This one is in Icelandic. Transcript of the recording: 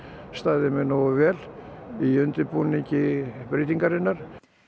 staðið mig nógu vel í undirbúningi breytingarinnar